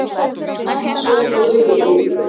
Mamma sólblómi fyrir miðju.